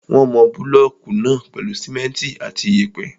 Wọ́n máa mọ búlọ̀kù náà pèlú simẹ́ntì àti iyẹ̀pẹ̀.